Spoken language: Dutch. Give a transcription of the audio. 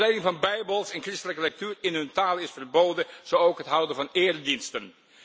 Verspreiding van bijbels en christelijke lectuur in hun taal is verboden, zo ook het houden van erediensten.